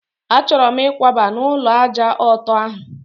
A chọrọ m ikwaba n'ulo ájá ọtọ ahụ